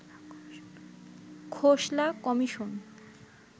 Khosla commission